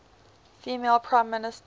female prime minister